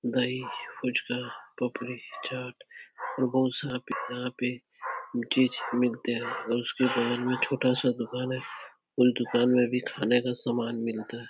दही फूचका पपड़ी चाट और बहोत सारा यहाँ पे चीज मिलते हैं और उसके बगल में एक छोटा सा दुकान है। उन दुकान में खाने का सामान मिलता है।